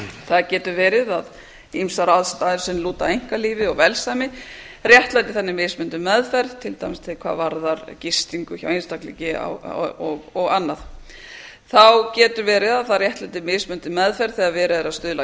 það getur verið að ýmsar aðstæður sem lúta að einkalífi og velsæmi réttlæti þannig mismunandi meðferð til dæmis hvað varðar gistingu hjá einstaklingi og annað þá getur verið að það réttlæti mismunandi meðferð þegar verið er að stuðla að